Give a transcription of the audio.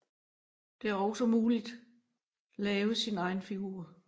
Det er også muligt lave sin egen figur